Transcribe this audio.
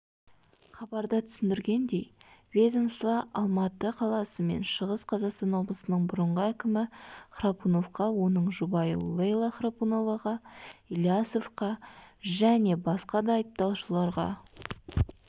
хабарда түсіндіргендей ведомство алматы қаласы мен шығыс қазақстан облысының бұрынғы әкімі храпуновқа оның жұбайы лейла храпуноваға илясовқа және басқа да айыпталушыларға